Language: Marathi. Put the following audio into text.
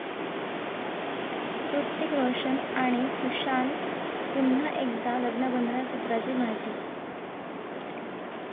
हृतिक रोशन आणि सुझान पुन्हा एकदा लग्नबंधनात, सूत्रांची माहिती